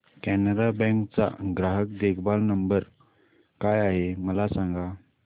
Canara bank चा ग्राहक देखभाल नंबर काय आहे मला सांगा